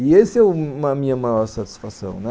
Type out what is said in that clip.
E essa é a minha maior satisfação.